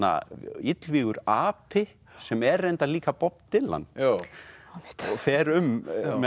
illvígur api sem er reyndar líka Bob Dylan og fer um með